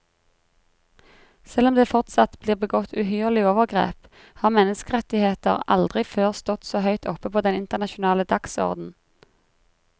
Selv om det fortsatt blir begått uhyrlige overgrep, har menneskerettigheter aldri før stått så høyt oppe på den internasjonale dagsorden.